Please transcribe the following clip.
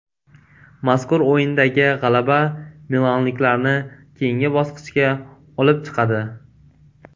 Mazkur o‘yindagi g‘alaba milanliklarni keyingi bosqichga olib chiqadi.